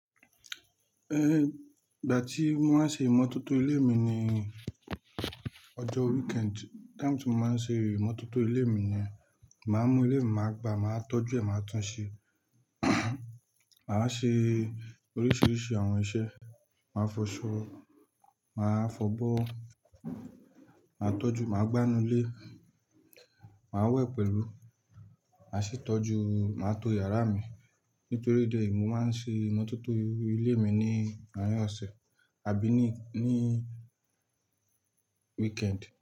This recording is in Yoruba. Ìgbà tí mo máa ń ṣe ìmọ́tótó ilé mi ni ọjọ́ weekend. Time tí mo máa ń ṣe ìmọ́tótó ilé mi ni, màá mú ilé mi, màá gba, màá tọ́jú ẹ, màá tún un ṣe. Màá ṣe oríṣiríṣi àwọn iṣẹ́, màá fọṣọ, màá fọ̀bọ́, màá tọ́jú, màá gbánu ilé, màá wẹ̀ pẹ̀lú, màá ṣi tọ́jú, màá to yàrá mi. Nítorí ìdí èyí, mo máa ń ṣe ìmọ́tótó inu ilé mi ní àárin ọ̀sẹ̀ àbí ní, ní weekend.